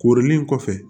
Koorilen kɔfɛ